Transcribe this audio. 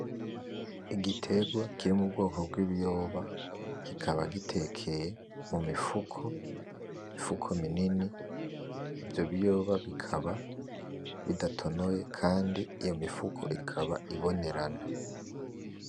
Igiterwa kiri mu bwoko bw'ibiyoba, kikaba gitekeye mu mifuko, imifuko minini. Ivyo biyoba bikaba bidatonoye kandi iyo mifuko ikaba ibonerana.